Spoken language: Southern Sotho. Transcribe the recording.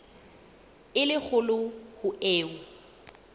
e le kgolo ho eo